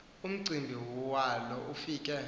umcimbi walo ufike